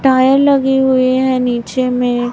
tyre लगे हुए हैं नीचे में--